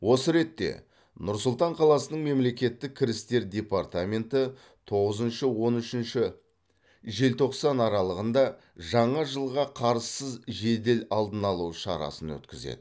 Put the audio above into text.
осы ретте нұр сұлтан қаласының мемлекеттік кірістер департаменті тоғызыншы он үшінші желтоқсан аралығында жаңа жылға қарызсыз жедел алдын алу шарасын өткізеді